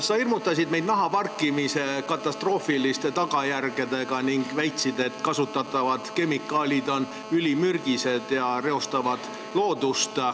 Sa hirmutasid meid nahaparkimise katastroofiliste tagajärgedega ning väitsid, et kasutatavad kemikaalid on ülimürgised ja reostavad loodust.